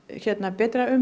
betra